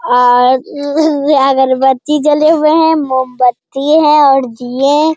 और अगरबत्ती जले हुए हैं मोमबत्ती हैं और दिये --